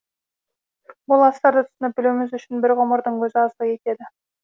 бұл астарды түсініп білуіміз үшін бір ғұмырдың өзі аздық етеді